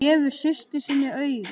Hann gefur systur sinni auga.